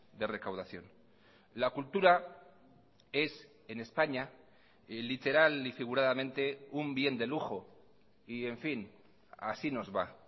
de recaudación la cultura es en españa literal y figuradamente un bien de lujo y en fin así nos va